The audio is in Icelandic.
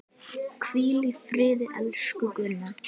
Hvíl í friði, elsku Gunna.